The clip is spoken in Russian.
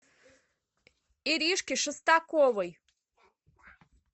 иришки шестаковой